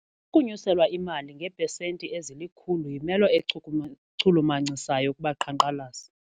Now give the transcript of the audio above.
Ukunyuselwa imali ngeepesenti ezilikhulu yimelo echulumancisayo kubaqhankqalazi.